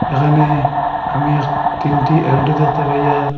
এখানে আমি এক তিনটি এলডো দেখতে পাই আর--